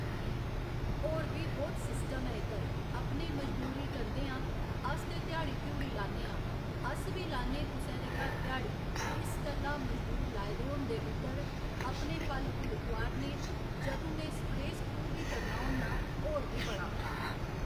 होर बी बहुत सिस्टम ऐ इद्धर, अपने मजदूरी करदे आं, अस ते ध्याड़ी धूड़ी लान्ने आं, अस बी लान्ने कुसै दे घर घ्याड़ी इस गल्ला मजदूर लाए दे होंदे उद्धर अपने फल फुल तोआरने जंदू में स्प्रे स्प्रू बी करना होन्ना होर बी बड़ा